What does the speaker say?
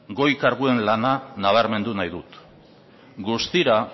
goi karguen lana nabarmendu nahi dut guztira